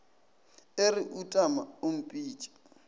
e re utama o mpitše